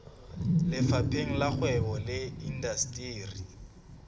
lefapheng la kgwebo le indasteri